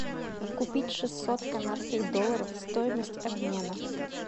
купить шестьсот канадских долларов стоимость обмена